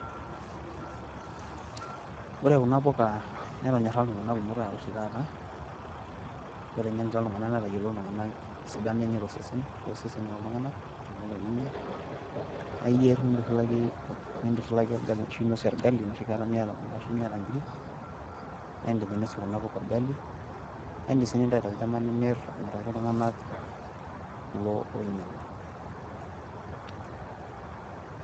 Ore kuna puka netonyora iltung'anak kumok oshi taata, amu eteng'enita iltung'anak netayiolo esidano enye too seseni looltung'anak. Tenelo ninya naa iyier nintushulaki olgali, enoshi kata miata kule ashu inkiri naa idim ainosie kuna puka olgali. Naa idim sii aitayu tolchamba nimiraki iltung'anak kulo oinyang'u.